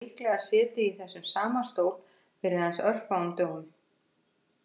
Matti hefur líklega setið í þessum sama stól fyrir aðeins örfáum dögum